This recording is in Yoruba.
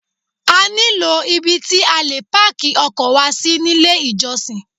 A nílò ibi tí a lè páàkì ọkọ̀ wa sí nílé ìjọsìn.